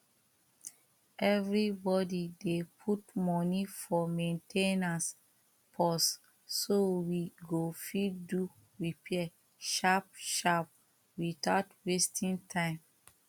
everybody dey put money for main ten ance purse so we go fit do repair sharp sharp without wasting time